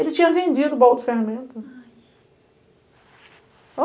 Ele tinha vendido o bolo de ferramenta. Ai